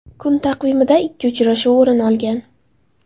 Kun taqvimida ikki uchrashuv o‘rin olgan.